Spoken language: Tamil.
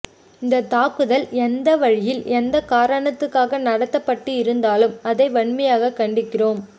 இந்தத் தாக்குதல் எந்த வழியில் எந்த காரணத்துக்காக நடத்தப்பட்டு இருந்தாலும் அதை வன்மையாகக் கண்டிக்கிறோம்